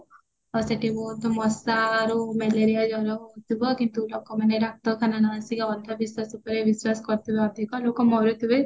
ଆଉ ସେଠି ବହୁତ ମଶାରୁ ମାଲେରିଆ ଜର ହଉଥିବା କିନ୍ତୁ ଲୋକ ମାନେ ଡାକ୍ଟରଖାନା ନ ଆସିକି ଅନ୍ଧ ବିଶ୍ଵାସ ଉପରେ ବିଶ୍ଵାସ କରୁଥିବେ ଅଧିକ ଲୋକ ମରୁଥିବେ